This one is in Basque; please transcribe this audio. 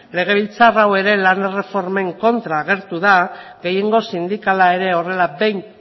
legebiltzar hau ere lan erreformen kontra agertu da gehiengo sindikala horrela behin